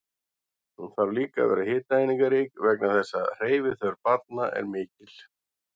Hún þarf líka að vera hitaeiningarík vegna þess að hreyfiþörf barna er mikil.